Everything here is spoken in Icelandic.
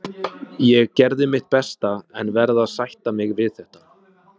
Ég gerði mitt besta en verð að sætta mig við þetta.